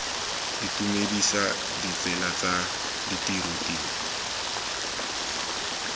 itumedisa ditsela tsa ditiro tiro